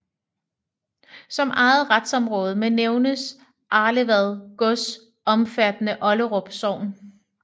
Som eget retsområde må nævnes Arlevad Gods omfattende Olderup Sogn